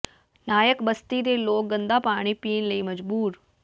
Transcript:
ਨਾਇਕ ਬਸਤੀ ਦੇ ਲੋਕ ਗੰਦਾ ਪਾਣੀ ਪੀਣ ਲਈ ਮਜਬੂਰ